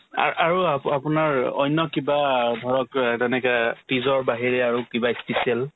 আৰ্ ~ আৰু আপো ~ আপোনাৰ অন্য কিবা ধৰক অ তেনেকে তিজ ৰ বাহিৰে আৰু কিবা ই special